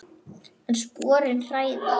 En sporin hræða.